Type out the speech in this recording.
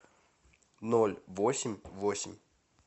ноль восемь восемь